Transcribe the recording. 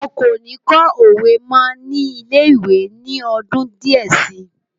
Wọn kò ní kọ́ òwe mọ́ ní ilé-ìwé ní ọdún díẹ̀ si.